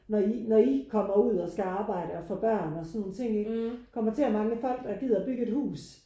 Når i når i kommer ud og skal arbejde og få børn og sådan nogle ting ikke kommer til at mangle folk der gider at bygge et hus